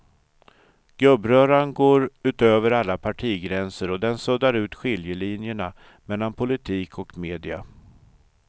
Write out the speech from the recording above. Gubbröran går utöver alla partigränser och den suddar ut skiljelinjerna mellan politik och media.